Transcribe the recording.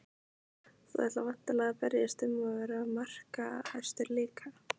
Þú ætlar væntanlega að berjast um að vera markahæstur líka?